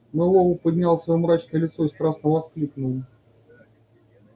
мэллоу поднял своё мрачное лицо и страстно воскликнул